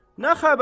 Nə xəbərdir?